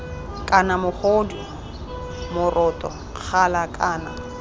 kana mogodu moroto gala kana